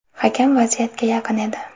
Hakam vaziyatga yaqin edi.